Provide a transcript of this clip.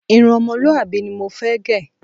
Irun o̩mo̩lúwàbí ni mo fé̩ gè̩.